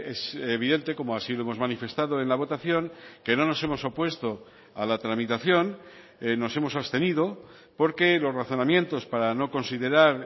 es evidente como así lo hemos manifestado en la votación que no nos hemos opuesto a la tramitación nos hemos abstenido porque los razonamientos para no considerar